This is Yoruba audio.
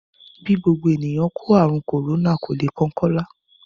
Bí gbogbo ènìyàn kó ààrùn kòrónà, kò le kan Kọ́lá